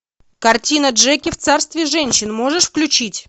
картина джеки в царстве женщин можешь включить